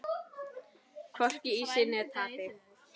Hvorki í sigri né tapi.